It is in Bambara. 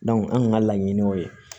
anw kun ka laɲini o ye